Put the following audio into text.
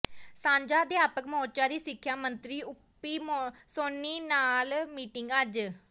ਸਾਂਝਾ ਅਧਿਆਪਕ ਮੋਰਚਾ ਦੀ ਸਿੱਖਿਆ ਮੰਤਰੀ ਓਪੀ ਸੋਨੀ ਨਾਲ ਮੀਟਿੰਗ ਅੱਜ